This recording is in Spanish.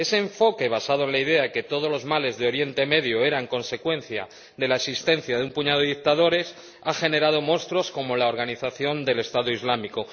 Ese enfoque basado en la idea de que todos los males de Oriente Medio eran consecuencia de la existencia de un puñado de dictadores ha generado monstruos como la organización del Estado Islámico.